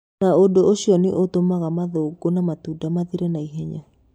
Na ũndũ ũcio nĩ ũtũmaga mathangũ na matunda mathire na ihenya.